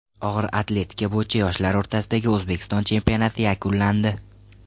Og‘ir atletika bo‘yicha yoshlar o‘rtasidagi O‘zbekiston chempionati yakunlandi.